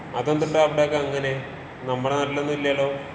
അതെന്തുട്ടാ അവടെ ഒക്കെ അങ്ങനേ? നമ്മടെ നാട്ടിലൊന്നും ഇല്ലല്ലോ.